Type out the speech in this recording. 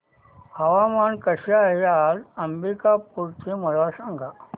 हवामान कसे आहे आज अंबिकापूर चे मला सांगा